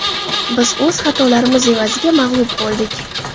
Biz o‘z xatolarimiz evaziga mag‘lub bo‘ldik.